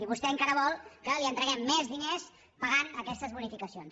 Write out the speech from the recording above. i vostè encara vol que li entreguem més diners pagant aquestes bonificacions